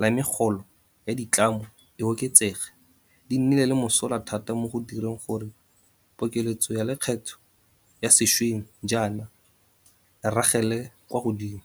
la megolo ya ditlamo e oketsege, di nnile le mosola thata mo go direng gore pokeletso ya lekgetho ya sešweng jaana e ragele kwa godimo.